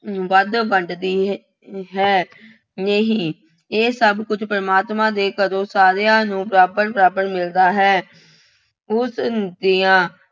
ਵੱਧ ਵੰਡਦੀ ਹੈ। ਨਹੀਂ ਇਹ ਸਭ ਕੁੱਝ ਪ੍ਰਮਾਤਮਾ ਦੇ ਘਰੋਂ ਸਾਰਿਆਂ ਨੂੰ ਬਰਾਬਰ ਬਰਾਬਰ ਮਿਲਦਾ ਹੈ। ਉਸ ਦੀਆਂ